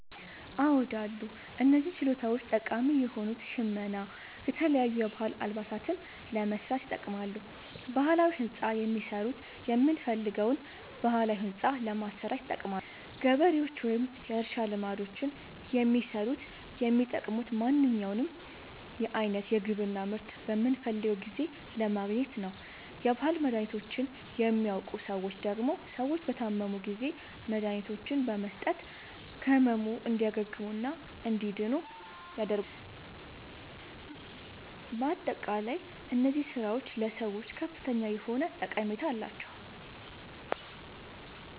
አዎድ አሉ። እነዚህ ችሎታዎች ጠቃሚ የሆኑት ሸመና የተለያዩ የባህል አልባሳትን ለመስራት ይጠቅማሉ። ባህላዊ ህንፃ የሚሠሩት የምንፈልገዉን ባህላዊ ህንፃ ለማሠራት ይጠቅማሉ። ገበሬዎች ወይም የእርሻ ልማዶችን የሚሠሩት የሚጠቅሙት ማንኛዉንም አይነት የግብርና ምርት በምንፈልገዉ ጊዜ ለማግኘት ነዉ። የባህል መድሀኒቶችን የሚያዉቁ ሠዎች ደግሞ ሰዎች በታመሙ ጊዜ መድሀኒቶችን በመስጠት ከህመሙ እንዲያግሙና እንዲድኑ ያደርጓቸዋል። በአጠቃላይ እነዚህ ስራዎች ለሰዎች ከፍተኛ የሆነ ጠቀሜታ አላቸዉ።